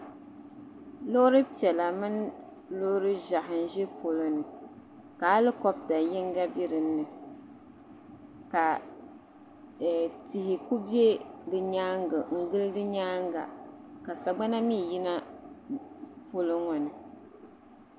Loori piɛla mini loori ʒehi n-ʒi polo ni alikopta yiŋga be dinni ka tihi kuli be di nyaaŋa n-gili di nyaaŋa ka sagbana mii yina polo ŋɔ ni.